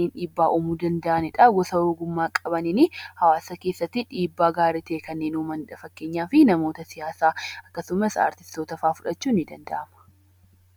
dhiibbaa uumuu danda'anidha. Namoota ogummaa qabaniin hawaasa keessatti dhiibbaa gaarii ta'e uumanidha. Fakkeenyaaf namoota siyaasaa akkasumas artistoota fa'a fudhachuun ni danda'ama.